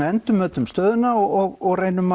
endurmetum stöðuna og reynum